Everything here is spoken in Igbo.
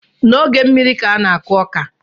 N’oge mmiri ka a n-akụ ọka